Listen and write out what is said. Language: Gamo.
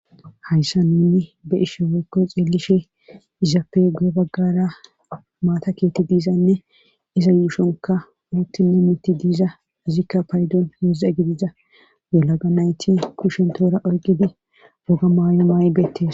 hayssa nuni be ishe weykko xeelishe izappegu7e baggara maata keeti diizanne iza yuushonka uuttine mitti diiza izikka paydon heeza gidiza wolaga nayti kushentoora oyqidi woga maayo maaybeettes